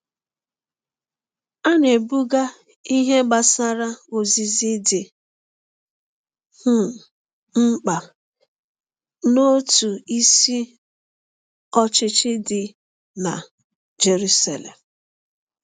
A na-ebuga ihe gbasara ozizi dị um mkpa n’òtù isi ọchịchị dị na Jeruselem.